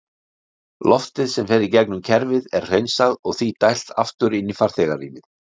Loftið sem fer í gegnum kerfið er hreinsað og því dælt aftur inn í farþegarýmið.